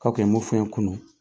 K' a kun m' o fɔ n ye kunun.